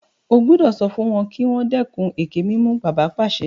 O gbúdọ̀ sọ fún wọn kí wọ́n dẹ́kun ẹkẹ-mímù! Bàbá pàṣẹ.